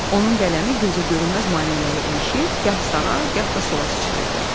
Onun qələmi gözə görünməz maneələrə ilişir, gah sağa, gah da sola sıçrayırdı.